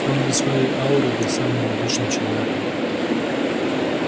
он без своей ауры был самым обычным человеком